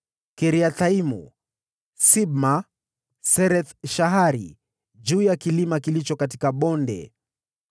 Kiriathaimu, Sibma, Sereth-Shahari juu ya kilima kilicho katika bonde,